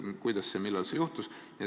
Kuidas ja millal see juhtus?